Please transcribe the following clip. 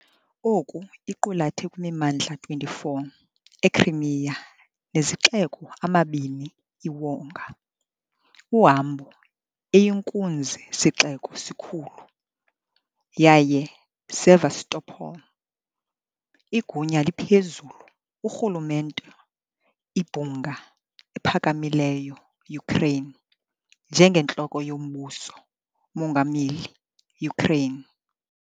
Oku iqulathe kwimimandla 24, eCrimea nezixeko amabini iwonga- Uhambo - eyinkunzi sixeko sikhulu, yaye Sevastopol. Igunya liphezulu Urhulumente iBhunga Ephakamileyo Ukraine, njengentloko yombuso - Mongameli Ukraine.